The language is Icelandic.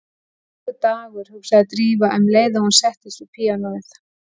Þvílíkur dagur, hugsaði Drífa um leið og hún settist við píanóið.